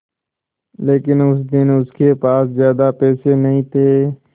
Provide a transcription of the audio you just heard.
लेकिन उस दिन उसके पास ज्यादा पैसे नहीं थे